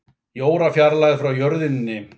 Í órafjarlægð frá jörðinni